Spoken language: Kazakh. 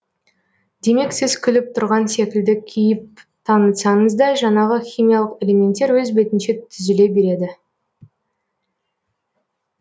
демек сіз күліп тұрған секілді кейіп танытсаңыз да жанағы химиялық элементтер өз бетінше түзіле береді